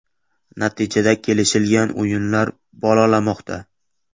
Natijada kelishilgan o‘yinlar ‘bolalamoqda’.